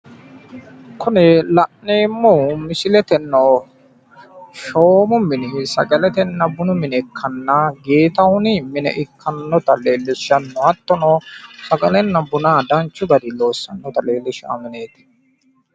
Kuni la'neemmohu shoomunna bunu mine ikkanna minu annino Getahuni mine ikkasi xawisano